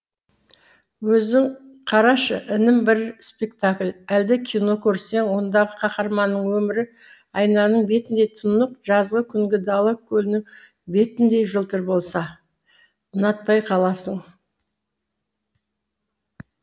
өзің қарашы інім бір спектакль әлде кино көрсең ондағы қаһарманның өмірі айнаның бетіндей тұнық жазғы күнгі дала көлінің бетіндей жылтыр болса ұнатпай қаласың